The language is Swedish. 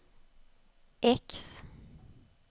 X